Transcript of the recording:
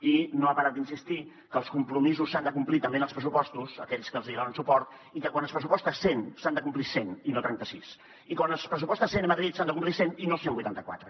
i no ha parat d’insistir que els compromisos s’han de complir també en els pressupostos a aquells que els hi donen suport i que quan es pressuposta cent s’han de complir cent i no trenta sis i quan es pressuposta cent a madrid s’han de complir cent i no cent i vuitanta quatre